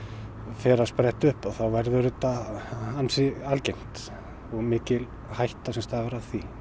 fer að spretta upp þá verður þetta ansi algengt og mikil hætta sem stafar af því